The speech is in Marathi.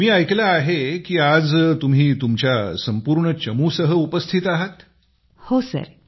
मी ऐकले आहे की आज तुम्ही तुमच्या संपूर्ण चमू सह उपस्थित आहातअपर्णा हो सर